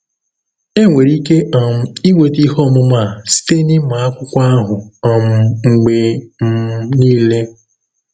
Enwere ike um inweta ihe ọmụma a site n’ịmụ akwụkwọ ahụ um mgbe um niile.